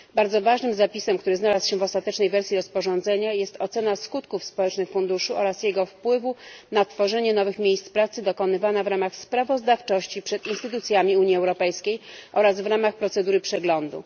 Bardzo ważnym zapisem, który znalazł się w ostatecznej wersji rozporządzenia, jest ocena skutków społecznych funduszu oraz jego wpływu na tworzenie nowych miejsc pracy, dokonywana w ramach sprawozdawczości przed instytucjami Unii Europejskiej oraz w ramach procedury przeglądu.